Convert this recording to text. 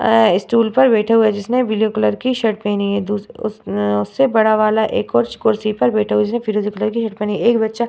अ stool पर बैठा हुआ है जिसने ब्लू कलर की शर्ट पहनी है | अ-अ उससे बड़ा वाला एक और कुर्सी पर बैठा हुआ है जिसने फीरोजी कलर की शर्ट पहनी है | एक बच्चा --